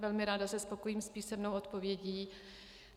Velmi ráda se spokojím s písemnou odpovědí.